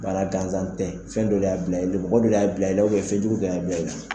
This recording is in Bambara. Bana danzan tɛ fɛn dɔ le y'a bila mɔgɔ dɔ le y'a bila ye fɛnjugu dɔ y'a bila i la.